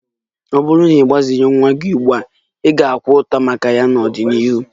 Ọ bụrụ na ị gbazighị nwa gị ugbu a, ị ga-akwa ụta maka ya n'ọdịnihu